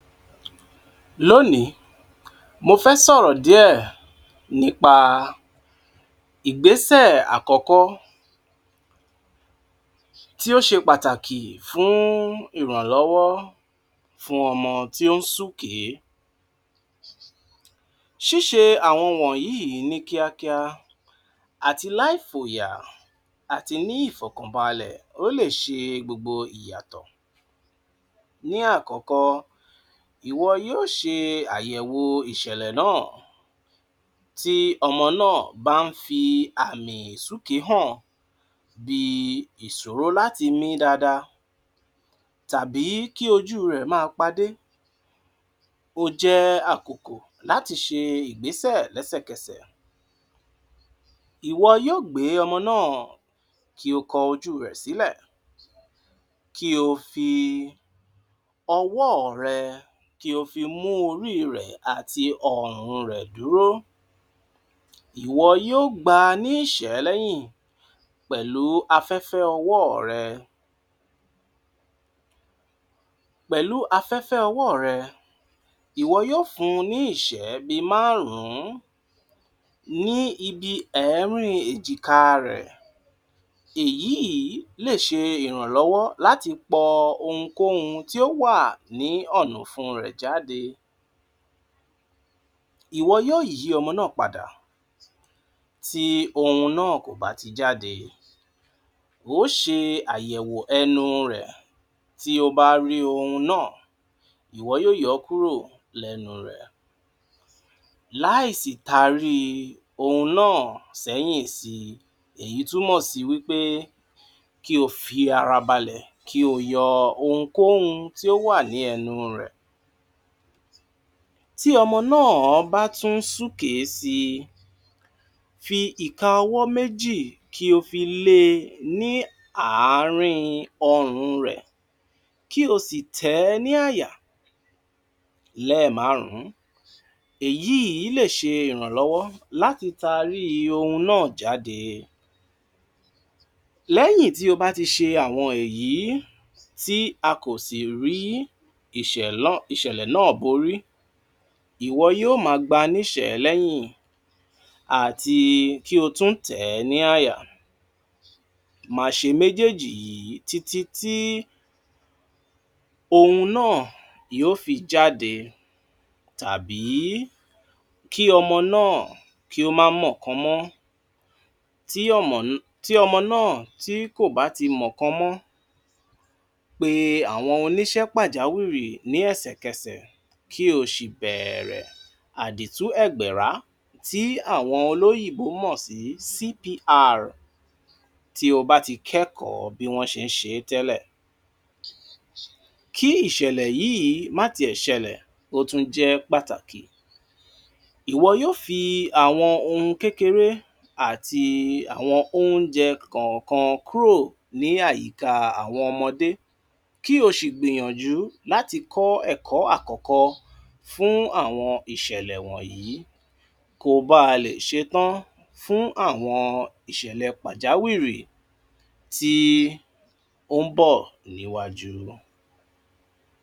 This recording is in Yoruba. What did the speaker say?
L’ónìí mo fẹ́ sọ̀rọ̀ díẹ̀ nípa ìgbésẹ̀ àkọ́kọ́ tí ó ṣe pàtàkì fún ìrànlọ́wọ́ fún ọmọ tí ó ń súkèé. Ṣíṣe àwọn wọ̀nyíìí ní kíákíá àti láè fòyà àti ní ìfọ̀kànbalẹ̀ ó lè ṣe gbogbo ìyàtọ̀ Ní àkọ́kọ́, ìwọ yóó ṣe àyẹ̀wò ìṣẹ̀lẹ̀ náà tí ọmọ náà bá ń fi àmì ìsúkèé hàn bí i ìṣòro láti mí dáadáa tàbí kí ojú rẹ̀ máa padé, ó jẹ́ àkokò láti ṣe ìgbésẹ̀ lẹ́sẹ̀kẹsẹ̀. Ìwọ yóó gbé ọmọ náà ki o kọ ojú rẹ̀ sílẹ̀ kí o fi ọwọ́ rẹ kí o fi mú orí rẹ̀ àti ọrùn rẹ̀ dúró. Ìwọ yóó gbà a ní ìṣẹ́ lẹ́yìn pẹ̀lú afẹ́fẹ́ ọwọ́ rẹ. Pẹ̀lú afẹ́fẹ́ ọwọ́ rẹ, ìwọ yóó fún n ní ìṣẹ́ bí i márùn-ún ní ibi ẹ̀ẹ́rín èjìkáa rẹ̀. Èyíìí lè ṣe ìrànlọ́wọ́ láti pọ ohunkóhun tí ó wà ní ọ̀nà ọ̀fun rẹ̀ jáde. Ìwọ yóó yí ọmọ náà padà tí ohun náà kò bá ti jáde. Oó ṣe àyẹ̀wò ẹnu rẹ̀, tí o bá rí ohun náà, ìwọ yóó yọ ọ́ kúrò lẹ́nu rẹ̀ láè sì taríi ohun náà sẹ́yìn sí i. Èyí túnmò sí wí pé kí o fi ara balẹ̀ kí o yọ ohunkóhun tí ó wà lẹ́nu rẹ̀. Tí ọmọ náà bá tún ń súkèé si, fi ìka ọwọ́ méjì kí o fi lé e ní àárín ọrùn rẹ̀ kí o sì tẹ̀ ẹ́ ní àyà lẹ́ẹ̀márùn-ún. Èyíìí lè ṣe ìrànlọ́wọ́ láti taríi ohun náà jáde. Lẹ́yìn tí o bá ti ṣe àwọn èyí tí a kò sì rí ìṣẹ̀lẹ̀ náà borí, ìwọ yóó máa gbá a níṣẹ̀é lẹ́yìn àti kí o tún tẹ̀ ẹ́ ní àyà. Máa ṣe méjèèjì yìí títítí ohun náà yóó fi jáde àbí kí ọmọ náà kó má mọ̀kan mọ́. Tí ọ̀mọ̀ ọmọ náà tí kò bá ti mọ̀kan mọ́, pe àwọn oníṣẹ pàjáwìrì lẹ́sẹ̀kẹsẹ̀ kí o sì bẹ̀ẹ̀rẹ̀ àdìtú ẹ̀gbẹ̀rá tí àwọn olóyìnbó mọ̀ sí CPR tí o bá ti kẹ́kọ̀ọ́ bí wọ́n ṣe ń ṣe é tẹ́lẹ̀. Kí ìṣẹ̀lẹ̀ yíì má tiẹ̀ ṣẹlẹ̀, ó tún jẹ́ pàtàkì. Ìwọ yóó fi àwọn ohun kékeré àti àwọn óúnjẹ kọ̀ọ̀kan kúrò ní àyíká àwọn ọmọdé kí o sì gbìyànjú láti kọ́ ẹ̀kọ́ àkọ́kọ́ fún àwọn ìṣẹ̀lẹ̀ wọ̀nyí ko bá a lè ṣetán fún àwọn ìṣẹ̀lẹ̀ pàjáwìrì tí ó ń bọ̀ níwájú.